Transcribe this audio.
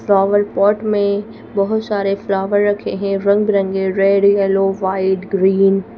flower pot में बहुत सारे फ्लावर रखे हैं रंग बरंगे रेड येलो वाइट ग्रीन --